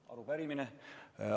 Ei, arupärimine.